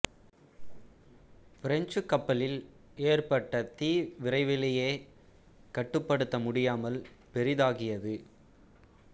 பிரெஞ்சுக் கப்பலில் ஏற்பட்ட தீ விரைவிலேயே கட்டுப்படுத்த முடியாமல் பெரிதாகியது